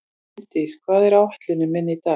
Finndís, hvað er á áætluninni minni í dag?